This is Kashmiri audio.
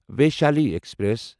ویشالی ایکسپریس